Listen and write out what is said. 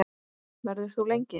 Verður þú lengi?